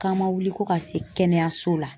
K'an ma wuli ko ka se kɛnɛyaso la.